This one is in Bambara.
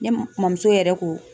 Ne mɔmuso yɛrɛ ko